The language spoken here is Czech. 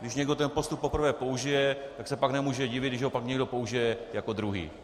Když někdo ten postup poprvé použije, tak se pak nemůže divit, když ho pak někdo použije jako druhý.